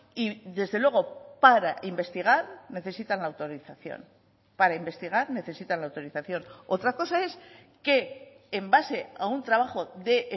y desde luego para investigar necesitan autorización para investigar necesitan la autorización otra cosa es que en base a un trabajo de